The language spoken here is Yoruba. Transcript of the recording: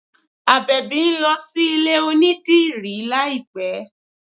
Àbẹ̀bì ń lọ sí ilé onídìrí láìpẹ́